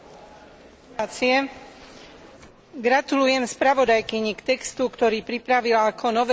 Gratulujem spravodajkyni k textu, ktorý pripravila ako novelu dvoch direktív o farmakovigilancii.